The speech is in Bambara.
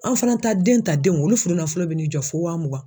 An fana ta den ta denw olu furunafɔlɔ bɛn'i jɔ fo wa mugan